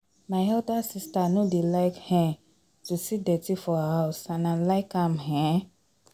My elder sister no dey like um to see dirty for her house and I like am um